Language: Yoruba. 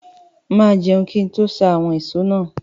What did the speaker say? Mà á jẹun kí n tó ṣá àwọn ìṣó náà.